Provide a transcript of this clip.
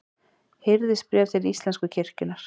Hirðisbréf til íslensku kirkjunnar.